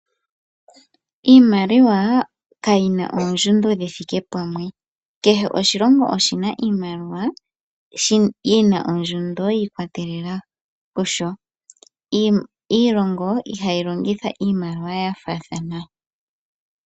Iimaliwa kayina oondjundo dhithike pamwe kehe oshilongo oshina iimaliwa yina ondjundo yi ikwatelela kusho. Iilongo ihayi longitha iimaliwa yafaathana.